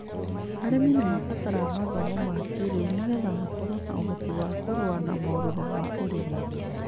Arĩmi nĩ marabatara mathomo ma kĩĩrĩu nĩ getha makorwo na ũhoti wa kũrũa na marũrũ ma ũrĩmi.